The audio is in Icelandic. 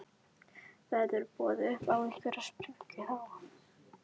Verður boðið upp á einhverja sprengju þá?